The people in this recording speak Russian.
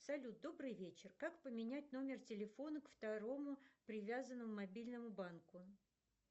салют добрый вечер как поменять номер телефона к второму привязанному мобильному банку